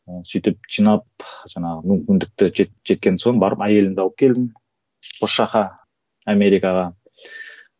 ы сөйтіп жиналып жаңағы мүмкіндікті жеткен соң барып әйелімді алып келдім осы жаққа америкаға